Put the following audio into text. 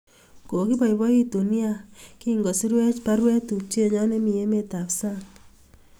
Kokipoipoitu nea kindasirwech parwet tupchennyo ne mi emet ap sang'